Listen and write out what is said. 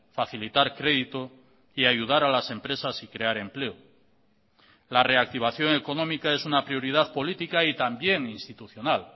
facilitar crédito y ayudar a las empresas y crear empleo la reactivación económica es una prioridad política y también institucional